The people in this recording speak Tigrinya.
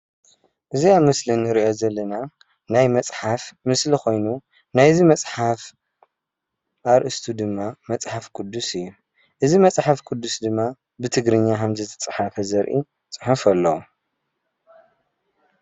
እዚ ኣብ ምስሊ እንሪኦ ዘለና ናይ መፅሓፍ ምስሊ ኮይኑ እዚ መፅሓፍ ኣርእስቱ ድማ መፅሓፍ ቅዱስ እዩ። እዚ መፅሓፍ ቅዱስ ድማ ብትግርኛ ከም ዝተፅሓፈ ዘርኢ ፅሑፍ እዩ።